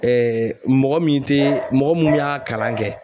mɔgɔ min tɛ mɔgɔ mun y'a kalan kɛ